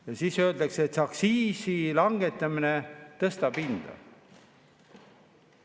Ja siis öeldakse, et aktsiisi langetamine tõstab hinda.